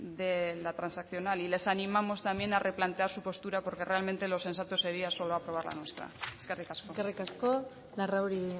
de la transaccional y les animamos también a replantear su postura porque realmente lo sensato sería solo aprobar la nuestra eskerrik asko eskerrik asko larrauri